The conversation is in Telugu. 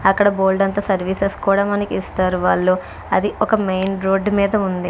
అక్కడ బోల్డంత సర్వీసెస్ కూడా మనకి ఇస్తారు వాళ్ళు అది ఒక మెయిన్ రోడ్డు మీద ఉంది.